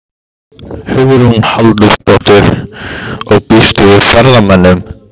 Hugrún Halldórsdóttir: Og býstu við ferðamönnum?